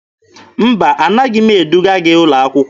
Mba, anaghị m eduga gị ụlọ akwụkwọ.